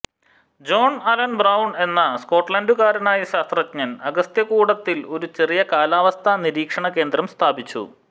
John Allan Broun എന്ന സ്കോട്ട്ലാന്റുകാരനായ ശാസ്ത്രജ്ഞൻ അഗസ്ത്യകൂടത്തിൽ ഒരു ചെറിയ കാലാവസ്ഥാ നിരീക്ഷണകേന്ദ്രം സ്ഥാപിച്ചു